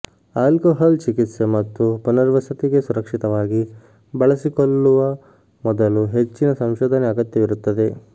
alcohol ಚಿಕಿತ್ಸೆ ಮತ್ತು ಪುನರ್ವಸತಿಗೆ ಸುರಕ್ಷಿತವಾಗಿ ಬಳಸಿಕೊಳ್ಳುವ ಮೊದಲು ಹೆಚ್ಚಿನ ಸಂಶೋಧನೆ ಅಗತ್ಯವಿರುತ್ತದೆ